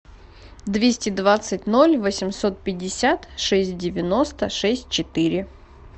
двести двадцать ноль восемьсот пятьдесят шесть девяносто шесть четыре